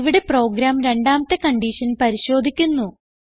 ഇവിടെ പ്രോഗ്രാം രണ്ടാമത്തെ കൺഡിഷൻ പരിശോധിക്കുന്നു